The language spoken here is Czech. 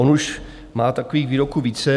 On už má takových výroků více.